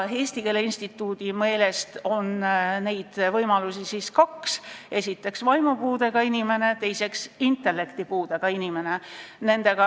Eesti Keele Instituudi meelest on neid võimalusi kaks: esiteks, vaimupuudega inimene, teiseks, intellektipuudega inimene.